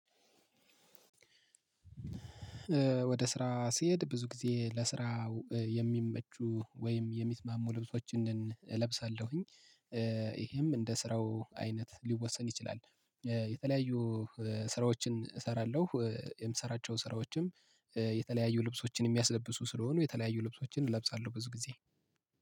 ወደ ስራ ስሄድ ብዙ ጊዜ ለስራው የሚመቹ ወይም የሚስማሙ ልብሶችን እለብሳለሁኝ። ይሄም እንደ ስራው አይነት ሊወሰን ይችላል። የተለያዩ ስራዎችን እሰራለሁ የምሰራቸውን ስራዎችም የተለያዩ ልብሶችን የሚያስለብሱ ስለሆኑ የተለያዩ ልብሶችን እለብሳለሁ። ብዙ ጊዜ